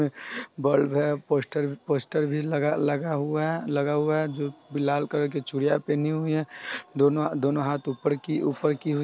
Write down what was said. bulb है poster poster भी लगा लगा हुआ लगा हुआ है जो कि लाल कलर की चूड़ियां पहनी हुई है दोनों दोनों हाथ ऊपर की की हुए--